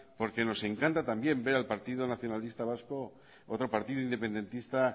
porque nos encanta también ver al partido nacionalista vasco otro partido independentista